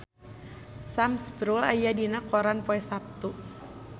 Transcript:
Sam Spruell aya dina koran poe Saptu